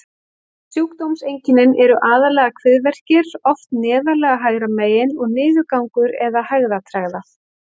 Sjúkdómseinkennin eru aðallega kviðverkir, oft neðarlega hægra megin, og niðurgangur eða hægðatregða.